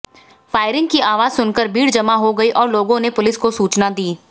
firing की आवाज सुनकर भीड़ जमा हो गई और लोगों ने पुलिस को सुचना दी